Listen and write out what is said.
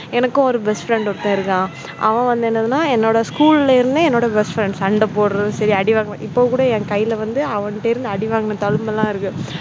எனக்கு ஒரு best friend ஒருத்தன் இருக்கான் அவன் வந்து என்னன்னா என்னோட school ல இருந்து என்னோட best friend சண்டை போடுறது சரி அடி வாங்குறது இப்ப கூட வந்து என் கையில வந்து அவன் கிட்ட வாங்குன அடி தழும்பெல்லாம் இருக்கு.